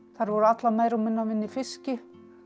þær voru allar meira og minna að vinna í fiski